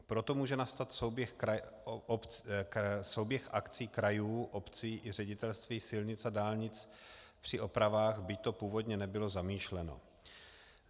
Proto může nastat souběh akcí krajů, obcí i Ředitelství silnic a dálnic při opravách, byť to původně nebylo zamýšleno.